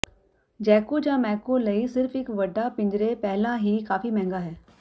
jaco ਜਾਂ macaw ਲਈ ਸਿਰਫ ਇਕ ਵੱਡਾ ਪਿੰਜਰੇ ਪਹਿਲਾਂ ਹੀ ਕਾਫੀ ਮਹਿੰਗਾ ਹੈ